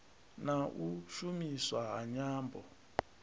na u shumiswa ha nyambo